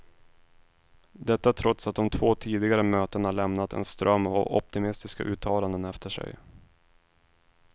Detta trots att de två tidigare mötena lämnat en ström av optimistiska uttalanden efter sig.